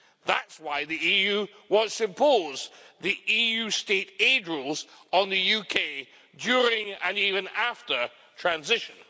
That's why the EU wants to impose the EU state aid rules on the UK during, and even after, transition.